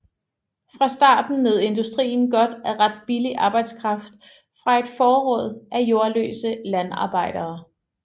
Fra starten nød industrien godt af ret billig arbejdskraft fra et forråd af jordløse landarbejdere